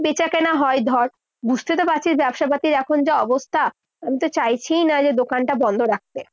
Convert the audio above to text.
বেচাকেনা হয় ধর, বুঝতে তো পারছিস ব্যবসাপাতির এখন যা অবস্থা। আমি তো চাইছিই না যে দোকানটা বন্ধ রাখতে।